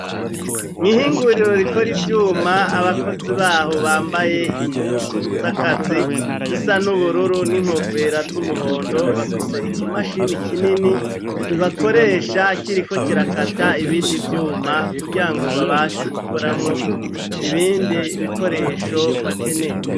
Mw' ihinguriro rikora ivyuma, abakozi baho bambaye impuzu z'akazi zisa n'ubururu n'inkofera z'umuhondo, bafise ikimashini kinini bakoresha kiriko kirakata ibindi vyuma, kugirango babashe gukoramwo ibindi bikoresho bakeneye.